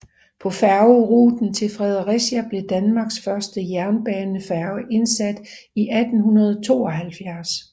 På færgeruten til Fredericia blev Danmarks første jernbanefærge indsat i 1872